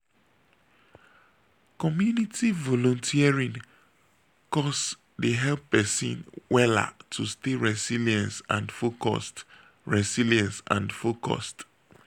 community volunteering cause dey help wella to stay resilience and focused. resilience and focused.